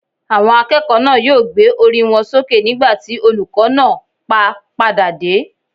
Àwọn akẹ́kọ̀ọ́ náà yóò gbé orí wọn sókè nígbà tí olùkó náà pá padà dé